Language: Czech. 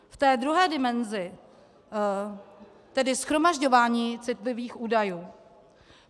K té druhé dimenzi, tedy shromažďování citlivých údajů.